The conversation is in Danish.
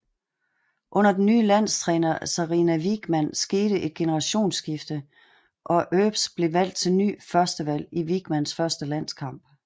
Under den nye landstræner Sarina Wiegman skete et generationskifte og Earps blev valgt til ny førstevalg i Wiegmans første landskamp